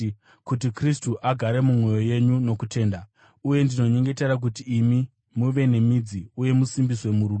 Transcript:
kuti Kristu agare mumwoyo yenyu nokutenda. Uye ndinonyengetera kuti imi, muve nemidzi uye musimbiswe murudo,